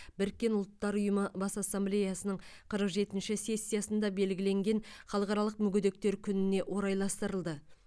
біріккен ұлттар ұйымы бас ассамблеясының өқырық жетінші сессиясында белгіленген халықаралық мүгедектер күніне орайластырылды